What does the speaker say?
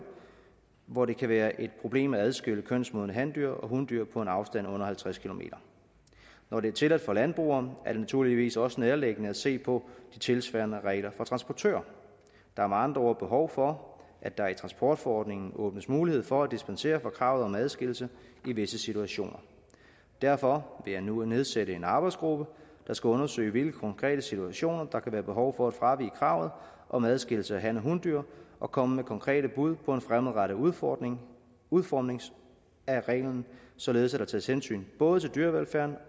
hvor det kan være et problem at adskille kønsmodne handyr og hundyr på en afstand under halvtreds km når det er tilladt for landbrugere er det naturligvis også nærliggende at se på de tilsvarende regler for transportører der er med andre ord behov for at der i transportforordningen åbnes mulighed for at dispensere for kravet om adskillelse i visse situationer derfor vil jeg nu nedsætte en arbejdsgruppe der skal undersøge i hvilke konkrete situationer der kan være behov for at fravige kravet om adskillelse af han og hundyr og komme med konkrete bud på en fremadrettet udformning udformning af reglen således at der tages hensyn både dyrevelfærden